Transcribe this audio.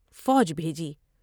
فوج بھیجی ۔